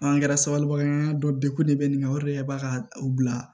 An kɛra sabaliba dɔnkun de bɛ nin o de b'a ka u bila